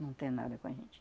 Não tem nada com a gente.